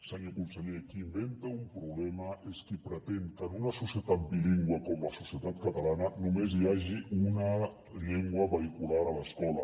senyor conseller qui inventa un problema és qui pretén que en una societat bilingüe com la societat catalana només hi hagi una llengua vehicular a l’escola